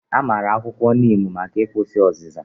A maara akwụkwọ niimu maka ịkwụsị ọzịza